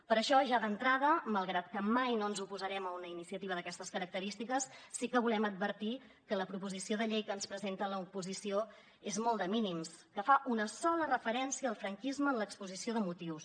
per això ja d’entrada malgrat que mai no ens oposarem a una iniciativa d’aquestes característiques sí que volem advertir que la proposició de llei que ens presenta l’oposició és molt de mínims que fa una sola referència al franquisme en l’exposició de motius